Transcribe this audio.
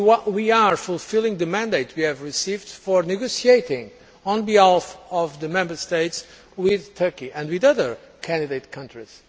We are fulfilling the mandate we received for negotiating on behalf of the Member States with Turkey and with other candidate countries.